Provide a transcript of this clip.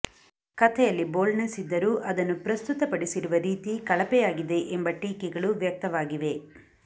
ಕಥೆಯಲ್ಲಿ ಬೋಲ್ಡ್ನೆಸ್ ಇದ್ದರೂ ಅದನ್ನು ಪ್ರಸ್ತುತಡಿಸಿರುವ ರೀತಿ ಕಳಪೆಯಾಗಿದೆ ಎಂಬ ಟೀಕೆಗಳು ವ್ಯಕ್ತವಾಗಿವೆ